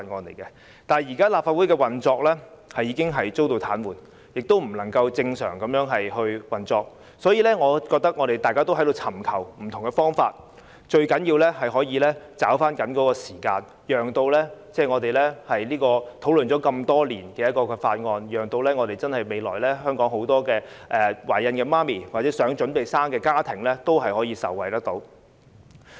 然而，現時立法會的運作已經遭到癱瘓，不能正常運作，大家也在尋求不同的解決方法，我覺得最重要的是捉緊時間，讓這項討論多年的《條例草案》可以讓香港很多懷孕婦女或未來打算準備生育小朋友的家庭也可以受惠。